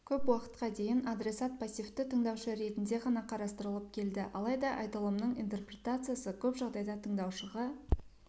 көп уақытқа дейін адресат пассивті тыңдаушы ретінде ғана қарастырылып келді алайда айтылымның интерпретациясы көп жағдайда тыңдаушыға